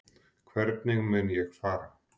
Hvernig mun ég fara?